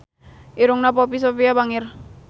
Irungna Poppy Sovia bangir